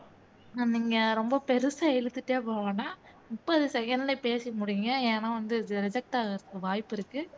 நீங்க ரொம்ப பெருசா இழுத்துட்டே போகவேண்டாம் முப்பது second ல பேசி முடிங்க ஏன்னா இது reject ஆகுறதுக்கு வாய்ப்பு இருக்கு